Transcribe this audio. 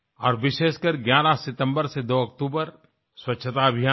और विशेषकर 11 सितम्बर से 02 अक्टूबर स्वच्छता अभियान में